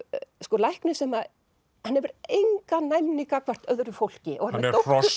lækni sem hefur enga næmni gagnvart öðru fólki hann er hross